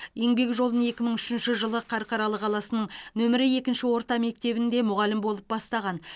еңбек жолын екі мың үшінші жылы қарқаралы қаласының нөмірі екінші орта мектебінде мұғалім болып бастаған